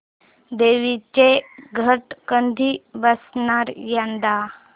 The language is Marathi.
देवींचे घट कधी बसणार यंदा